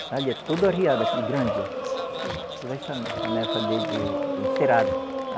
Está ali, é tudo arriado aqui, e grande, ó. Sim. Tudo é a sane, sanefa de de encerado.